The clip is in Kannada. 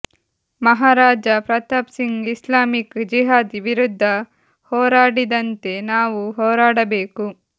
ಮಹಾ ರಾಜ ಪ್ರತಾಪ್ ಸಿಂಗ್ ಇಸ್ಲಾಮಿಕ್ ಜಿಹಾದ್ ವಿರುದ್ಧ ಹೋರಾಡಿದಂತೆ ನಾವು ಹೋರಾಡಬೇಕು